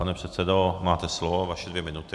Pane předsedo, máte slovo, vaše dvě minuty.